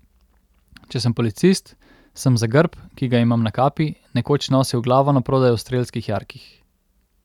Če sem policist, sem za grb, ki ga imam na kapi, nekoč nosil glavo na prodaj v strelskih jarkih.